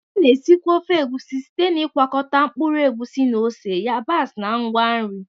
A na-esikwa ofe Egusi site n'ịgwakọta mkpụrụ egusi na ose, yabasị na ngwa nri.